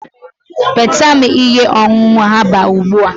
nweta m ihe ọṅụṅụ herbal ugbu a!